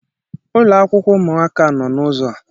Ụlọakwụkwọ ụmụaka no n'ụzọ a.